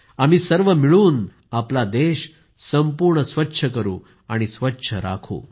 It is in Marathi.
आम्ही सर्व मिळून आमचा देश संपूर्ण स्वच्छ करू आणि स्वच्छ राखू